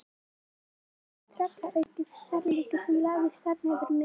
En þetta var alveg tröllaukið ferlíki sem lagðist þarna yfir mig.